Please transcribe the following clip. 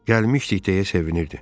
Gəlmişdik deyə sevinirdi.